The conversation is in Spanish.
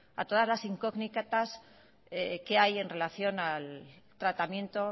a todas las incógnitas que hay en relación al tratamiento